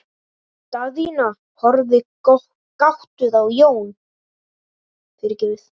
Daðína horfði gáttuð á Jón.